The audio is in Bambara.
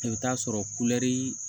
I bɛ taa sɔrɔ kulɛri